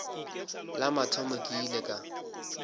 la mathomo ke ile ka